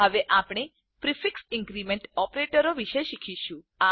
હવે આપણે prefix increment ઓપરેટરો વિષે શીખીશું